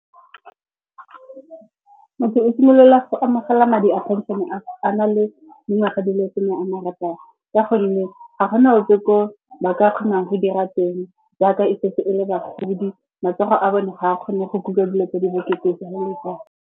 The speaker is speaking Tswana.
Motho o simolola go amogela madi a phenšene a na le dingwaga di le some a marataro. Ka gonne ga go na ope ko ba ka kgonang go dira teng jaaka e setse e le bagodi. Matsogo a bone ga a kgone go kuka dilo tse di bokete .